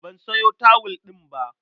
Ban sayo tawul ɗin ba.